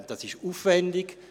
Es ist aufwendig.